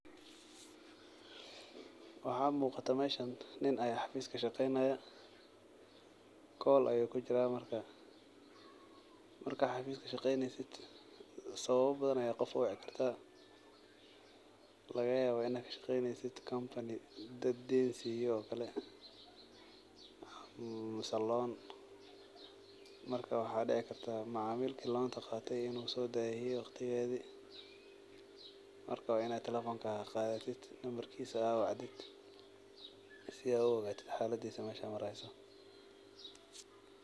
Waxaa muqatah meshan nin aayaa xafis kashaqeynayaa , call[cs[ ayuu kujiraah , marka xafis kashaqeynesid sababa badhan ayaa qof uwici karta lagayaba inaa kashaqeynesid company dadka deyn siyo oo kale mise loan marka waxaa dici karto macamilka lonka qate in uu sodahiye , marka wa in lawacaah si ad u ogatid xaladisa meshi ay mareyso.